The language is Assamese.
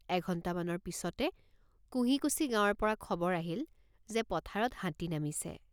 এঘণ্টা মানৰ পিচতে কোঁহিকুছি গাঁৱৰপৰা খবৰ আহিল যে পথাৰত হাতী নামিছে।